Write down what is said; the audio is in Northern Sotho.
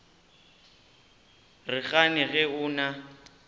re gane ge o na